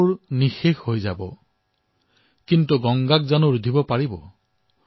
ক্যা ওসকো ৰোক সকেংগে মিটনেৱালে মিট যায়েংগে